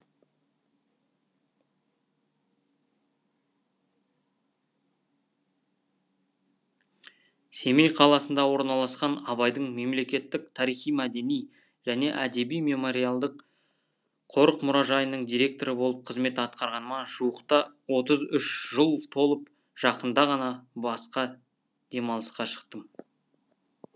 семей қаласында орналасқан абайдың мемлекеттік тарихи мәдени және әдеби мемориалдық қорық мұражайының директоры болып қызмет атқарғаныма жуықта отыз үш жыл толып жақында ғана басқа демалысқа шықтым